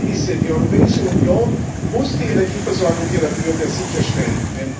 Das ist die Prämisse Die Europäische Union muss die Energieversorgung ihrer Bürger sicherstellen.